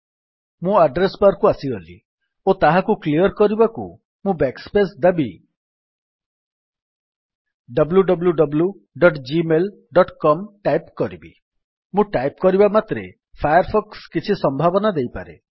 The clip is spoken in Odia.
ମୁଁ ଆଡ୍ରେସ୍ ବାର୍ କୁ ଆସିଗଲି ଓ ତାହାକୁ କ୍ଲିଅର୍ କରିବାକୁ ମୁଁ ବ୍ୟାକ୍ ସ୍ପେସ୍ ଦାବି wwwgmailcom ଟାଇପ୍ କରିବି ମୁଁ ଟାଇପ୍ କରିବା ମାତ୍ରେ ଫାୟାର୍ ଫକ୍ସ୍ କିଛି ସମ୍ଭାବନା ଦେଇପାରେ